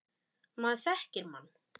Maður þekkir mann.